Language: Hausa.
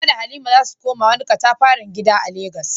Hawwa da Halima za su koma wani katafaren gida a Legas.